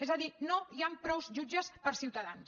és a dir no hi han prou jutges per ciutadans